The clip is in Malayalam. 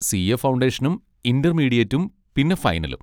സി. എ ഫൗണ്ടേഷനും ഇന്റർമീഡിയേറ്റും പിന്നെ ഫൈനലും.